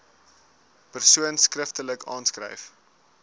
persoon skriftelik aanskryf